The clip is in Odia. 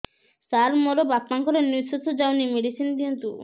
ସାର ମୋର ବାପା ଙ୍କର ନିଃଶ୍ବାସ ଯାଉନି ମେଡିସିନ ଦିଅନ୍ତୁ